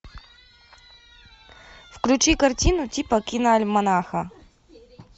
включи картину типа киноальманаха